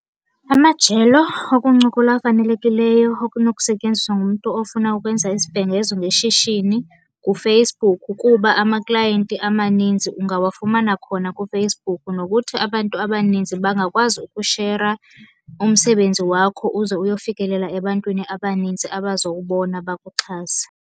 Amajelo okuncokola afanelekileyo okunokusetyenziswa ngumntu ofuna ukwenza isibhengezo ngeshishini nguFacebook, kuba amaklayenti amaninzi ungawafumana khona kuFacebook. Nokuthi abantu abaninzi bangakwazi ukushera umsebenzi wakho uze uyofikelela ebantwini abaninzi abazowubona bakuxhase.